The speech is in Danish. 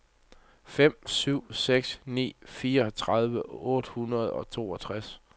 fem syv seks ni fireogtredive otte hundrede og toogtres